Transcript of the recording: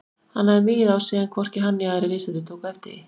Hann hafði migið á sig en hvorki hann né aðrir viðstaddir tóku eftir því.